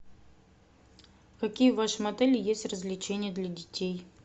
какие в вашем отеле есть развлечения для детей